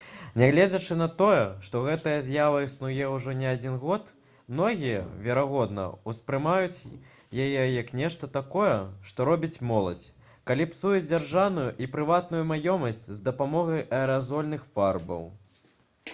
нягледзячы на тое што гэтая з'ява існуе ўжо не адзін год многія верагодна успрымаюць яе як нешта такое што робіць моладзь калі псуе дзяржаўную і прыватную маёмасць з дапамогай аэразольных фарбаў